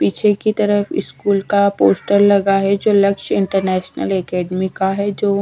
पीछे की तरफ स्कूल का पोस्टर लगा है जो लक्ष्य इंटरनेशनल एकेडमी का है जो--